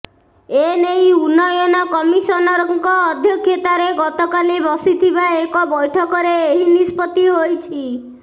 ଏନେଇ ଉନ୍ନୟନ କମିଶନରଙ୍କ ଅଧ୍ୟକ୍ଷତାରେ ଗତକାଲି ବସିଥିବା ଏକ ବୈଠକରେ ଏହି ନିଷ୍ପତ୍ତି ହୋଇଛି